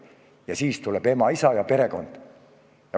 Seejärel tuleb ema, isa ja perekond.